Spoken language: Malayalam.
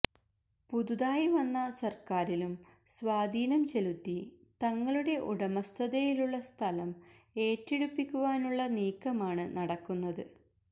പുതുതായി വന്ന സര്ക്കാരിലും സ്വാധീനം ചെലുത്തി തങ്ങളുടെ ഉടമസ്ഥതയിലുള്ള സ്ഥലം ഏറ്റെടുപ്പിക്കുവാനുള്ള നീക്കമാണ് നടക്കുന്നത്